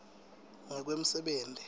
ngekwemsebenti